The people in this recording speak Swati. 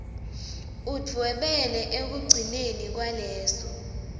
udvwebele ekugcineni kwaleso